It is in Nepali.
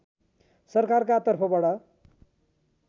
सरकारका तर्फबाट